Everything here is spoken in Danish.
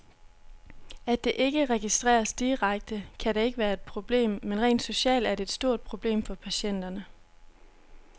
At det ikke registreres direkte, kan da ikke være et problem, men rent socialt er det et stort problem for patienterne.